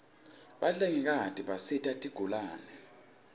bahlengikati bisita tigulane